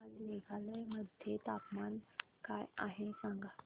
आज मेघालय मध्ये तापमान काय आहे सांगा